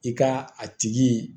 I ka a tigi